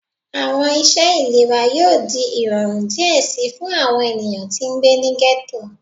Awọn iṣẹ ilera yoo di irọrun diẹ sii fun awọn eniyan ti ngbe ni ghetto